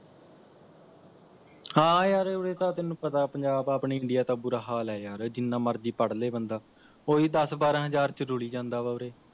ਹਾ ਯਾਰ ਉਰੇ ਤਾਂ ਤੈਨੂੰ ਪਤਾ ਹੈ ਪੰਜਾਬ ਆਪਣੀ India ਦਾ ਬੁਰਾ ਹਾਲ ਹੈ ਯਾਰ ਜਿਨਾ ਮਰਜ਼ੀ ਪੜ ਲੈ ਬੰਦਾ ਉਹ ਹੀ ਦੱਸ ਬਾਰਾਂ ਹਜ਼ਾਰ ਚ ਰੁਲੀ ਜਾਂਦਾ ਵਾਂ ਉਰੇ